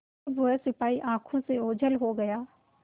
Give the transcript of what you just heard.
जब वह सिपाही आँखों से ओझल हो गया